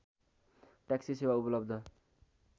taxi सेवा उपलब्ध